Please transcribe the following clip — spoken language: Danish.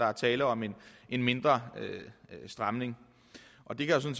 er tale om en mindre stramning og det kan